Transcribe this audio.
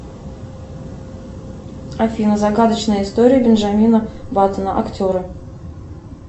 афина загадочная история бенджамина баттона актеры